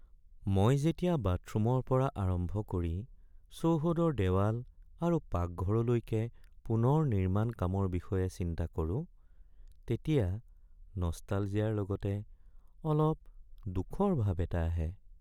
মই যেতিয়া বাথৰুমৰ পৰা আৰম্ভ কৰি চৌহদৰ দেৱাল আৰু পাকঘৰলৈকে পুনৰ নিৰ্মাণ কামৰ বিষয়ে চিন্তা কৰোঁ তেতিয়া নষ্টালজিয়াৰ লগতে অলপ দুখৰ ভাব এটা আহে।